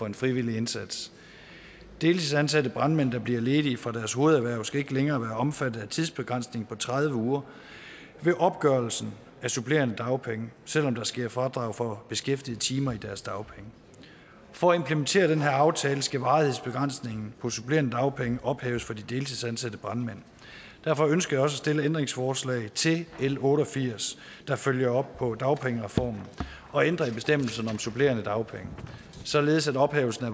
en frivillig indsats deltidsansatte brandmænd der bliver ledige fra deres hovederhverv skal ikke længere være omfattet af tidsbegrænsningen på tredive uger ved opgørelsen af supplerende dagpenge selv om der sker fradrag for beskæftigede timer i deres dagpenge for at implementere den her aftale skal varighedsbegrænsningen på supplerende dagpenge ophæves for de deltidsansatte brandmænd derfor ønsker at stille ændringsforslag til l otte og firs der følger op på dagpengereformen og ændre i bestemmelsen om supplerende dagpenge således at ophævelsen af